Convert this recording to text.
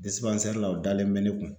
la o dalen mɛ ne kun